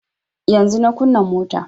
Yanzun na kunna mota